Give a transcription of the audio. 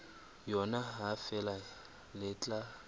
yona ha feela le tla